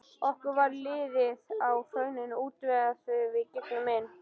Okkur varð litið á hraunaða útveggina þegar við gengum inn.